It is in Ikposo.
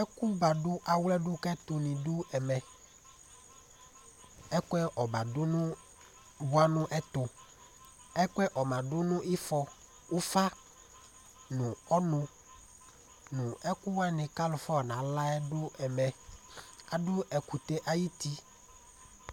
Ɛkʋ badu awlɛ kʋ ɛtu ni du ɛmɛ Ɛkʋɛ ɔma bʋa nu ɛtu Ɛkʋɛ ɔma du nʋ ifɔ, ʋfa nʋ ɔnʋ nʋ ɛkʋ wani kʋ alu fɔ yɔ nala yɛ du ɛmɛ Adu ɛkʋtɛ ayʋ ti